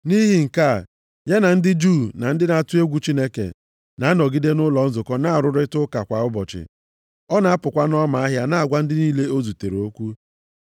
Nʼihi nke a, ya na ndị Juu na ndị na-atụ egwu Chineke, na-anọgide nʼụlọ nzukọ na-arụrịta ụka. Kwa ụbọchị, ọ na-apụkwa nʼọma ahịa na-agwa ndị niile o zutere okwu.